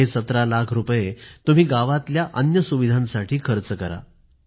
हे १७ लाख रुपये तुम्ही गावातल्या अन्य सुविधांसाठी खर्च करा